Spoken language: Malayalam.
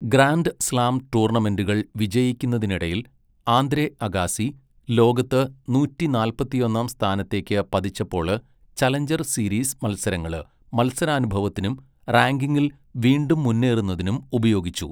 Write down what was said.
ഗ്രാൻഡ് സ്ലാം ടൂർണമെന്റുകൾ വിജയിക്കുന്നതിനിടയിൽ ആന്ദ്രെ അഗാസി ലോകത്ത് നൂറ്റി നാല്പത്തൊന്നാം സ്ഥാനത്തേക്ക് പതിച്ചപ്പോള് ചലഞ്ചർ സീരീസ് മത്സരങ്ങള് മത്സരാനുഭവത്തിനും റാങ്കിംഗിൽ വീണ്ടും മുന്നേറുന്നതിനും ഉപയോഗിച്ചു.